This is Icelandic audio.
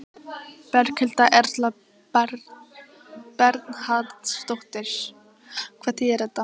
Berghildur Erla Bernharðsdóttir: Hvað þýðir þetta?